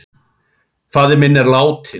Faðir minn er látinn.